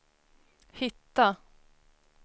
hitta